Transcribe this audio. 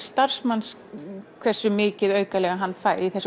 starfsmanns hversu mikið hann fær